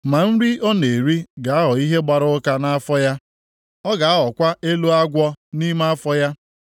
ma nri ọ na-eri ga-aghọ ihe gbara ụka nʼafọ ya, ọ ga-aghọkwa elo agwọ nʼime afọ ya.